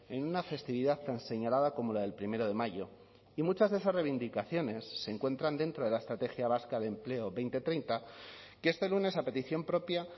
en una festividad tan señalada como la del primero de mayo y muchas de esas reivindicaciones se encuentran dentro de la estrategia vasca de empleo dos mil treinta que este lunes a petición propia